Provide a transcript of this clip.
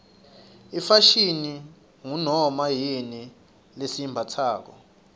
ifashini ngunoma yini lesiyimbatsako